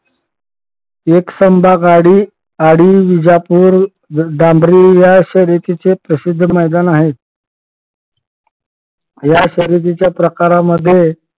एकसंबा गाडी गाडी विजापूर डांबरी या अशा रीतीचे प्रसिद्ध मैदान आहे. या शर्यतीच्या प्रकारांमध्ये